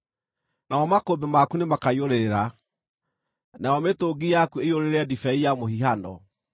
namo makũmbĩ maku nĩmakaiyũrĩrĩra, nayo mĩtũngi yaku ĩiyũrĩrĩre ndibei ya mũhihano.